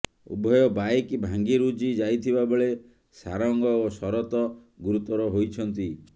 ଉଭୟ ବାଇକ ଭାଙ୍ଗିରୁଜି ଯାଇଥିବା ବେଳେ ସାରଙ୍ଗ ଓ ଶରତ ଗୁରୁତର ହୋଇଛନ୍ତି